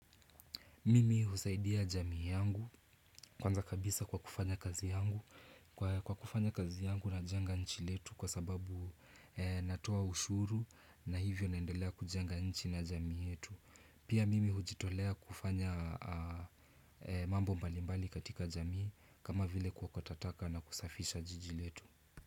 Mimi husaidia jamii yangu kwanza kabisa kwa kufanya kazi yangu najenga nchi letu kwa sababu natoa ushuru na hivyo naendelea kujenga nchi na jamii yetu. Pia mimi hujitolea kufanya mambo mbalimbali katika jamii kama vile kuokota taka na kusafisha jiji letu.